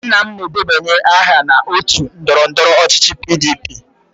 Nna m na-edebanye aha na otu ndọrọndọrọ ọchịchị PDP.